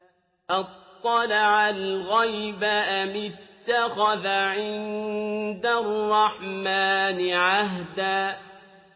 أَطَّلَعَ الْغَيْبَ أَمِ اتَّخَذَ عِندَ الرَّحْمَٰنِ عَهْدًا